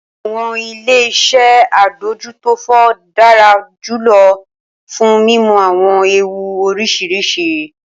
Awọn ile-iṣẹ adójútófò dara julọ fun mimu awọn eewu oriṣiriṣi.